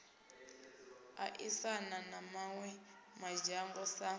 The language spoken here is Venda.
aisana na mawe madzhango sa